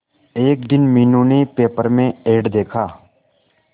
एक दिन मीनू ने पेपर में एड देखा